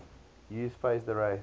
use phased array